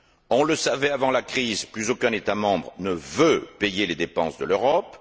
On le savait avant la crise plus aucun État membre ne veut payer les dépenses de l'Europe.